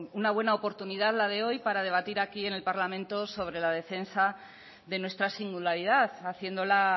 una buena oportunidad la de hoy para debatir aquí en el parlamento sobre la defensa de nuestra singularidad haciéndola